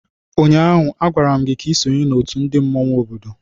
Ụnyaahụ, agwara m gị ka i sonye n'otu ndị mmanwụ obodo!